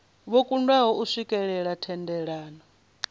vho kundwa u swikelela thendelano